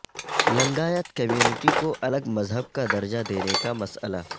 Lingayat community کوالگ مذہب کا درجہ دینے کا مسئلہ